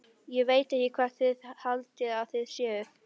Ég veit ekki hvað þið haldið að þið séuð.